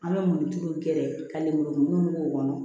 An bɛ murutuluw kɛ ka lemurukumuni k'o kɔnɔ